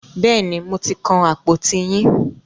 Bẹ́ẹ̀ni, mo ti kan àpòtí yín.